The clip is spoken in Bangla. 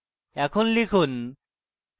এখন লিখুন: